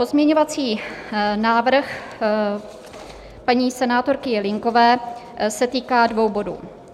Pozměňovací návrh paní senátorky Jelínkové se týká dvou bodů.